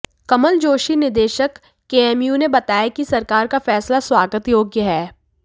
कमल जोशी निदेशक केएमयू ने बताया कि सरकार का फैसला स्वागत योग्य है